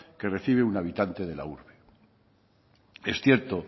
que recibe un habitante de la urbe es cierto